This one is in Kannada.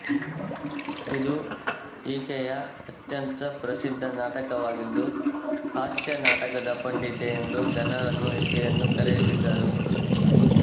ಇದು ಈಕೆಯ ಅತ್ಯಂತ ಪ್ರಸಿದ್ದ ನಾಟಕವಾಗಿದ್ದುಹಾಸ್ಯ ನಾಟಕದ ಪಂಡಿತೆ ಎಂದು ಜನರು ಈಕೆಯನ್ನು ಕರೆಯುತ್ತಿದ್ದರು